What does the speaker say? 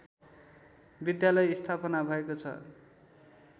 विद्यालय स्थापना भएको छ